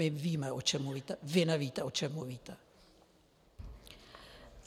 My víme, o čem mluvíme, vy nevíte, o čem mluvíte.